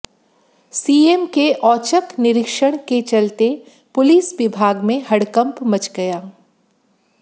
CM के औचक निरीक्षण के चलते पुलिस विभाग में हड़कंप मच गया